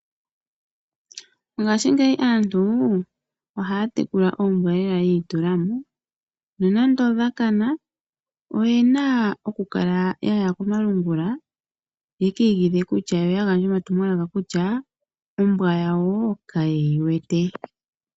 Mongashingeyi aantu ohaya tekula lela oombwa yiitulamo. Nonando odha kana, oyena okukala yaya komalungula, ye ki igidhe, yo yagandje omatumwalaka kutya ombwa yawo kayeyi wete.